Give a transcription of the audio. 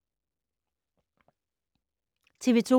TV 2